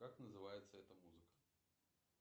как называется эта музыка